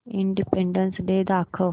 independence Day दाखव